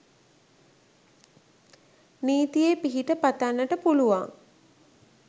නීතියේ පිහිට පතන්නට පුළුවන්